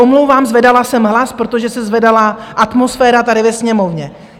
Omlouvám, zvedala jsem hlas, protože se zvedala atmosféra tady ve Sněmovně.